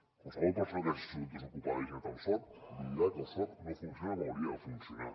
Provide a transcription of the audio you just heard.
qualsevol persona que hagi sigut desocupada i hagi anat al soc li dirà que el soc no funciona com hauria de funcionar